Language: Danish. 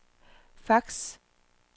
fax